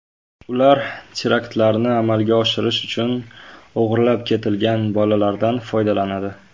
Ular teraktlarni amalga oshirish uchun o‘g‘irlab ketilgan bolalardan foydalanadi.